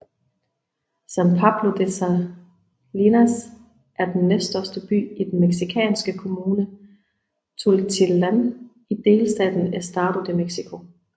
San Pablo de las Salinas er den næststørste by i den mexikanske kommune Tultitlán i delstaten Estado de México